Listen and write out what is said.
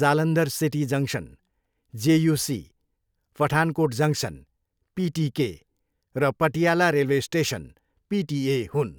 Jalandhar city junction, JUC, Pathankot junction, PTK र Patiala railway station, PTA हुन्।